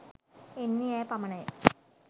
එන්නේ ඈ පමණය